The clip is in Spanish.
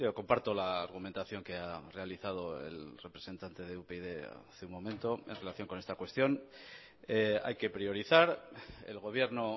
comparto la argumentación que ha realizado el representante de upyd hace un momento en relación con esta cuestión hay que priorizar el gobierno